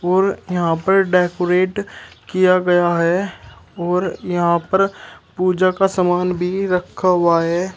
और यहां पर डेकोरेट किया गया है और यहां पर पूजा का सामान भी रखा हुआ है।